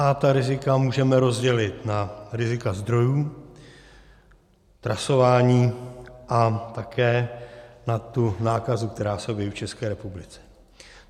A ta rizika můžeme rozdělit na rizika zdrojů, trasování a také na tu nákazu, která se objeví v České republice.